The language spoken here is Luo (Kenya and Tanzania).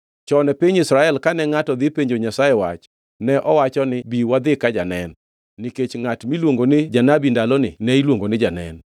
Chon e piny Israel kane ngʼato dhi penjo Nyasaye wach ne owacho niya, “Bi wadhi ka Janen,” nikech ngʼat miluongo ni janabi ndaloni ne iluongo ni janen.